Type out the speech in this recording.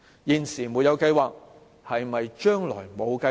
現時沒有計劃，是否代表將來也沒有計劃？